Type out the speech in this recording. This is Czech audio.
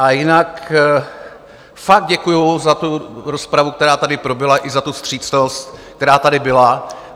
A jinak fakt děkuji za tu rozpravu, která tady proběhla, i za tu vstřícnost, která tady byla.